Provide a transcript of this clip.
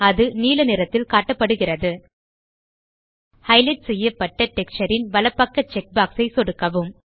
அது நீல நிறத்தில் காட்டப்படுகிறது ஹைலைட் செய்யப்பட்ட டெக்ஸ்சர் ன் வலப்பக்க செக் பாக்ஸ் ஐ சொடுக்கவும்